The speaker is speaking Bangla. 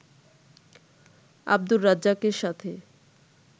আব্দুর রাজ্জাকের সাথে